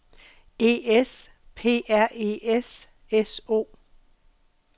E S P R E S S O